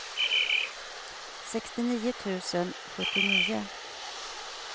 sextionio tusen sjuttionio